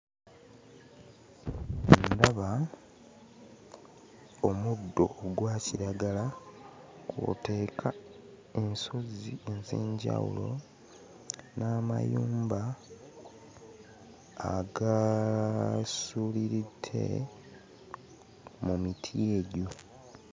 Ndaba omuddo ogwa kiragala kw'oteeka ensozi ez'enjawulo n'amayumba agasuuliridde mu miti egyo.